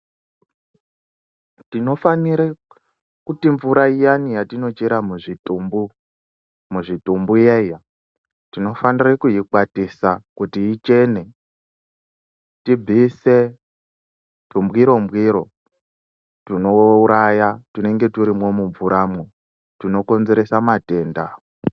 Tinofanire kuti mvura iyani yatinochera muzvitumbu, muzvitumbu iyaiya tinofanira kuikwatisa kuti ichene tibvise tumbwiro mbwiro tunouraya tunenge turimwo mumvuramwo tunokonzeresa matenda.